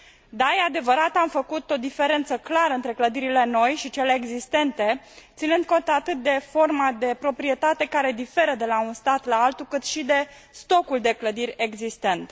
Da, este adevărat, am făcut o diferență clară între clădirile noi și cele existente, ținând cont atât de forma de proprietate care diferă de la un stat la altul, cât și de stocul de clădiri existent.